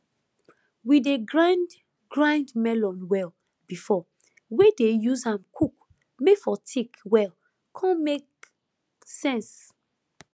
we dey grind grind melon well before wey dey use am cook may for thick well con make sense